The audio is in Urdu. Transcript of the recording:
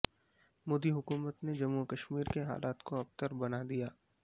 مودی حکومت نے جموں وکشمیر کے حالات کو ابتر بنادیا